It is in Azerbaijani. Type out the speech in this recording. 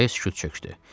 Araya sükut çökdü.